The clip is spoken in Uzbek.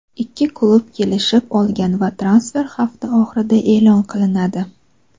ikki klub kelishib olgan va transfer hafta oxirida e’lon qilinadi.